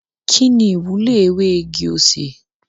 Kini iwulo ewe igi osè?